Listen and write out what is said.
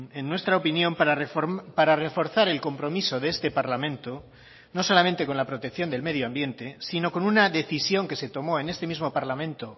en nuestra opinión para reforzar el compromiso de este parlamento no solamente con la protección del medioambiente sino con una decisión que se tomó en este mismo parlamento